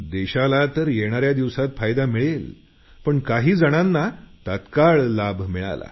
देशाला तर येणाऱ्या दिवसात फायदा मिळेल पण काही जणांना तात्काळ लाभ मिळाला